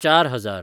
चार हजार